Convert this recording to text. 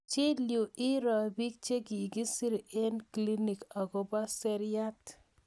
chill yu iroo pik chegigisir eng clinik akopo seriat